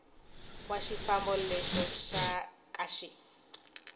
wa xifambo lexo ka xi